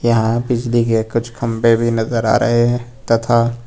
यहां बिजली के कुछ खंबे भी नजर आ रहे हैं तथा--